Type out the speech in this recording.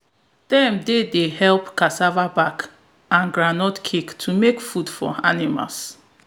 dem dey dey help cassava back and groundnut cake to make food for animals